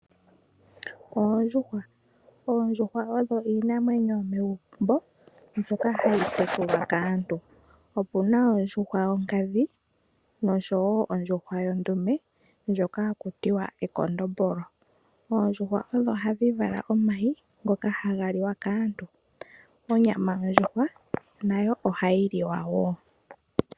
Oondjuhwa Oondjuhwa odho iinamwenyo yomegumbo mbyoka hayi tekulwa kaantu. Opu na ondjuhwa yonkadhi nosho wo ondjuhwa yondume ndjoka haku tiwa ekondombolo. Oondjuhwa odho hadhi vala omayi ngoka haga liwa kaantu. Onyama yondjuhwa nayo ohayi liwa wo.